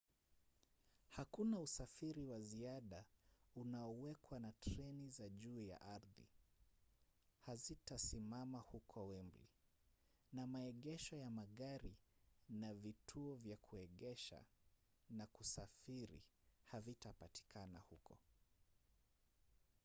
hakuna usafiri wa ziada unaowekwa na treni za juu ya ardhi hazitasimama huko wembley na maegesho ya magari na vituo vya kuegesha na kusafiri havipatikani huko